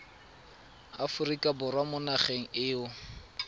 aforika borwa mo nageng eo